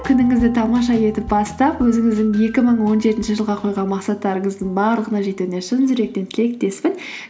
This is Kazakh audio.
күніңізді тамаша етіп бастап өзіңіздің екі мың он жетінші жылға қойған мақсаттарыңыздың барлығына жетуіне шын жүректен тілектеспін